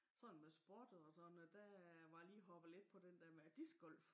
Sådan med sport og sådan noget der var jeg lige hoppet lidt på den dér med disc golf